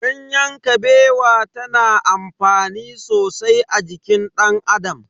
Ganyen Kabewa ta na amfani sosai a jikin dan Adam.